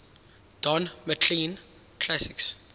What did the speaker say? don mclean classics